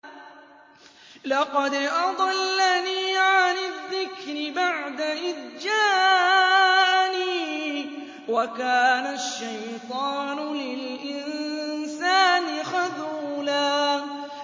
لَّقَدْ أَضَلَّنِي عَنِ الذِّكْرِ بَعْدَ إِذْ جَاءَنِي ۗ وَكَانَ الشَّيْطَانُ لِلْإِنسَانِ خَذُولًا